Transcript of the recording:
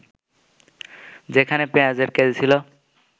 যেখানে পেঁয়াজের কেজি ছিল